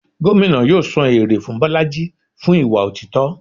Gómìnà yóò san èrè fún bolájí fún ìwà otítọ́.